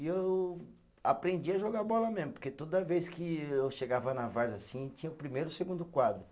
E eu aprendi a jogar bola mesmo, porque toda vez que eu chegava na Várzea assim, tinha o primeiro e o segundo quadro.